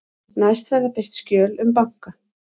Næst verða birt skjöl um banka